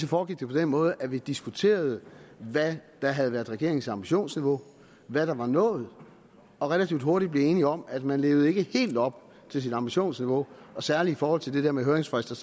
foregik på den måde at vi diskuterede hvad der havde været regeringens ambitionsniveau hvad der var nået og relativt hurtigt blev vi enige om at man ikke levede helt op til sit ambitionsniveau og særlig i forhold til det der med høringsfrister